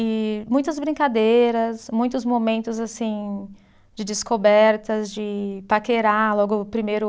E muitas brincadeiras, muitos momentos assim de descobertas, de paquerar, logo o primeiro.